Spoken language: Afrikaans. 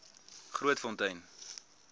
grootfontein